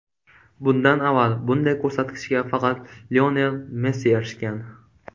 Bundan avval bunday ko‘rsatkichga faqat Lionel Messi erishgan.